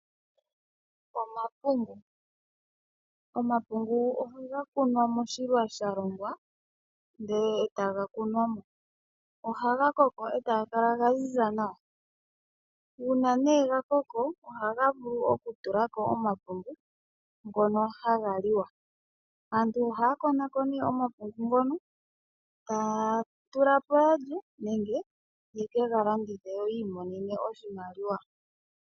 Omapungu. Omapungu ohaga kunwa moshilwa sha longwa ndele etaga kunwamo. Ohaga koko etaga kala ga ziza nawa. Uuna nee ga koko ohaga vulu okutulako omapungu ngono haga liwa. Aantu oha ya likola ko omapungu ngono etaya tula po ya lye nenge ye kega landithe yo yiimonene oshimaliwa.